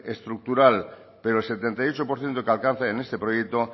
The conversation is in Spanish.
estructural pero el setenta y ocho por ciento de que alcance en este proyecto